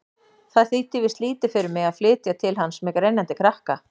Það þýddi víst lítið fyrir mig að flytja til hans-með grenjandi krakka!